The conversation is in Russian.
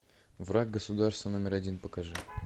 враг государства номер один покажи